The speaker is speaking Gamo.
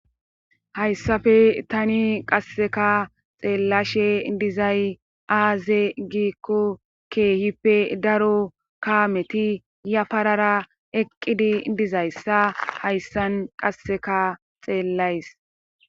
Hayssafe tani qasseka xeellashe dizay aaze giikko keehippe daro kaameti ya parara eqqidi dizayssa hayssan qasseka xeellays.